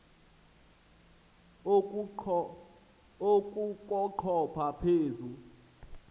oku kochopha phezu